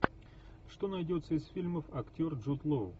что найдется из фильмов актер джуд лоу